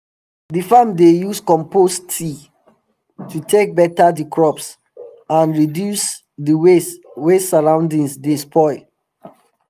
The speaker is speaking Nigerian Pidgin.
d farm dey use compost tea to take beta the crops and reduce d way wey surroundings dey spoil